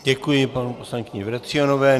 Děkuji paní poslankyni Vrecionové.